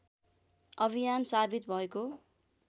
अभियान साबित भएको